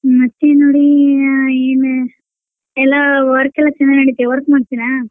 ಮತ್ತೆ ನೋಡಿ ಆ ಏನ್ ಎಲ್ಲಾ work ಚೆನ್ನಾಗ್ ನಡಿತೆ work ಮಾಡ್ತೀರ?